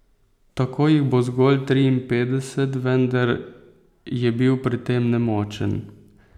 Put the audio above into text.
Tako jih bo zgolj triinpetdeset, vendar je bil pri tem nemočen.